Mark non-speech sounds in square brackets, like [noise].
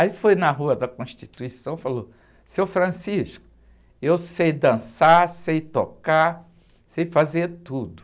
Aí foi na rua da Constituição e falou, seu, [unintelligible] eu sei dançar, sei tocar, sei fazer tudo.